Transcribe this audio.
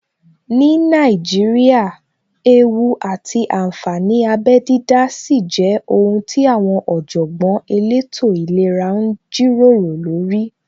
Ní Nàíjíríà, ewú àti ànfàní abẹ dídá sì jẹ́ ohun tí àwọn Ọ̀jọ̀gbọ́n elétò ìlera ń jíròrò lórí